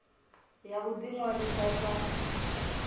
ya u ḓi ṅwalisa sa